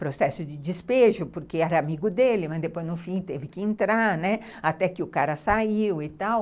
processo de despejo, porque era amigo dele, mas depois, no fim, teve que entrar, né, até que o cara saiu e tal.